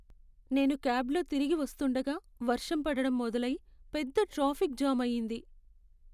నేను క్యాబ్లో తిరిగి వస్తుండగా వర్షం పడడం మొదలై, పెద్ద ట్రాఫిక్ జామ్ అయింది.